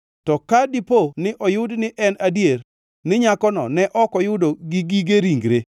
To ka dipo ni oyud ni en adier ni nyakono ne ok oyudo gi gige ringre,